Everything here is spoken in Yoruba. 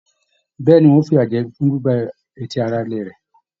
Bẹẹni, wọn yóò f'iya jẹ ẹ fún gbígbà etí ará ilé rẹ.